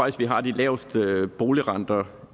at vi har de laveste boligrenter